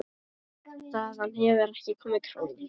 Þaðan hefur ekki komið króna.